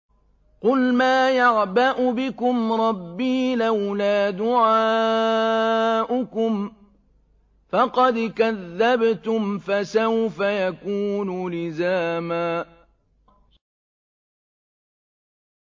قُلْ مَا يَعْبَأُ بِكُمْ رَبِّي لَوْلَا دُعَاؤُكُمْ ۖ فَقَدْ كَذَّبْتُمْ فَسَوْفَ يَكُونُ لِزَامًا